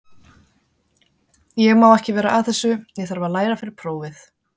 Ég má ekki vera að þessu, ég þarf að læra fyrir prófið.